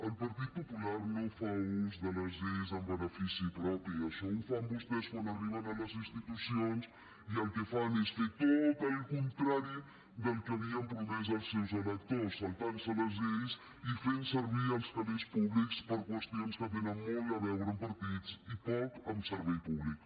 el partit popular no fa ús de les lleis en benefici propi això ho fan vostès quan arriben a les institucions i el que fan és fer tot el contrari del que havien promès als seus electors saltant se les lleis i fent servir els calés públics per a qüestions que tenen molt a veure amb partits i poc amb servei públic